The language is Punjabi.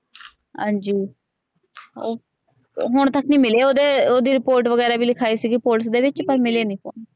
ਹਾਜੀ ਹੁਣ ਤਕ ਨੀ ਮਿਲੇ ਓਹਦੇ ਓਹਦੀ ਰਿਪੋਰਟ ਵਗੇਰਾ ਵੀ ਲਿਖਾਈ ਸੀਗੀ ਪੁਲਿਸ ਦੇ ਵਿਚ ਪਰ ਮਿਲੇ ਨੀ ਫੋਨ।